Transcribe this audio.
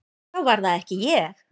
Þá var það ekki ég!